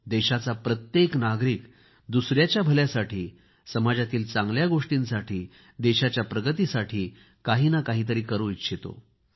देशाचा प्रत्येक नागरिक दुसऱ्यामच्या भल्यासाठी समाजातील चांगल्या गोष्टींसाठी देशाच्या प्रगतीसाठी काही ना काहीतरी करू इच्छितो